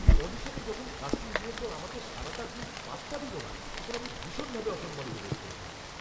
অডিশনে যখন casting director আমাকে সারাটা দিন পাত্তা দিলনা তখন আমি ভীষণভাবে অসম্মানিত বোধ করেছিলাম।